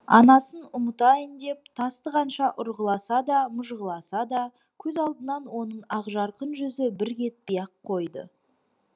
анасын ұмытайын деп тасты қанша ұрғыласа да мыжғыласа да көз алдынан оның ақжарқын жүзі бір кетпей ақ қойды